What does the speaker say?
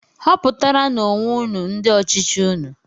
Họputaranú onwe unu ndị ọchịchị unu!